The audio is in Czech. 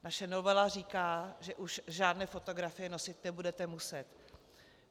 Naše novela říká, že už žádné fotografie nosit nebudete muset.